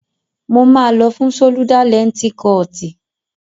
Mo máa lọ fún ṣólúdá lẹǹtì kọọ̀tì.